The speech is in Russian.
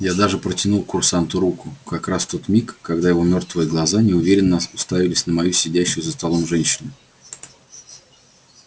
я даже протянул к курсанту руку как раз в тот миг когда его мёртвые глаза неуверенно уставились на сидящую за столом женщину